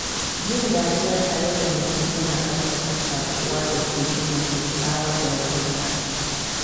Yin dariya tare da mutum yana ƙarfafa shaƙuwa da ke gina kyakkyawar dangantaka.